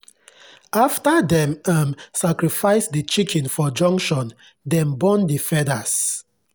after dem um sacrifice the chicken for junction dem burn the feathers.